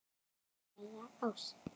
Alla daga ársins!